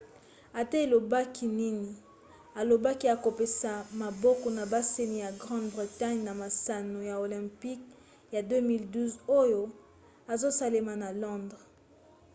ata alobaki nini alobaki akopesa maboko na basani ya grande-bretagne na masano ya olympic ya 2012 oyo ezosalema na londres